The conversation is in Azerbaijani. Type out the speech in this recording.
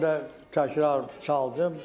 Mən də təkrar çaldım.